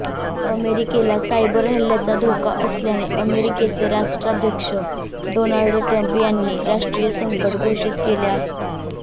अमेरिकेला सायबर हल्ल्याचा धोका असल्याने अमेरिकेचे राष्ट्राध्यक्ष डोनाल्ड ट्रम्प यांनी राष्ट्रीय संकट घोषित केले आहे